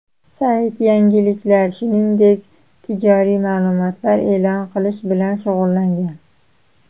Sayt yangiliklar, shuningdek tijoriy ma’lumotlar e’lon qilish bilan shug‘ullangan.